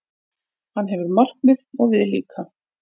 Hann hefur markmið, og við líka.